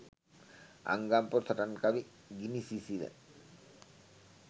අංගම් පොර සටන් කවි ගිනි සිසිල